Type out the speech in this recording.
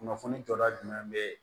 Kunnafoni jɔda jumɛn be ye